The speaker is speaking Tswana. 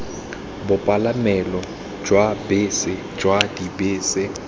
bopalamelo jwa bese jwa dibese